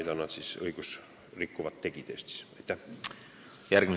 Järgmisena küsib Krista Aru.